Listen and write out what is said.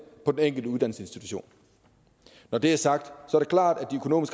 på den enkelte uddannelsesinstitution når det er sagt